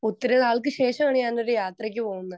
Speaker 2 ഒത്തിരിനാൾക്ക് ശേഷമാണു ഞാൻ ഒരു യാത്രക്കു പോകുന്നത്.